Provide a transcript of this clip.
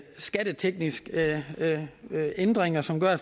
skattetekniske ændringer som gør at